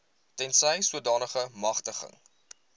tensy sodanige magtiging